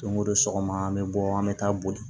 Don o don sɔgɔma an bɛ bɔ an bɛ taa boli